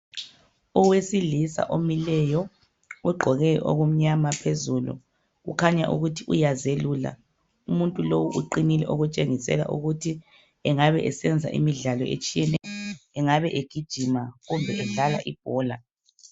Owesilisa omileyo ugqoke okumnyama phezulu kukhanya ukuthi uyazelula umuntu lo uqinile okutshengisela ukuthi engabe esenza imidlalo etshiyeneyo engabe egijima kumbe edlala ibhola